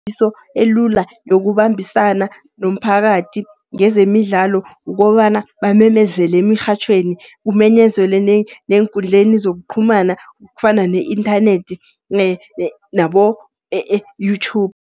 Ikambiso elula yokubambisana nomphakathi ngezemidlalo, kukobana bamemezele emirhatjhweni, kumenyezelwe neenkundleni zokuqhumana kufana ne-inthanethi nabo-YouTube.